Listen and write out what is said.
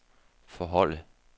forholde